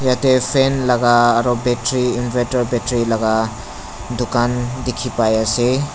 yatae fan laka aro battery inverter battery laka dukan dikhi pai ase.